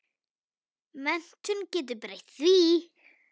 Menntun getur breytt því.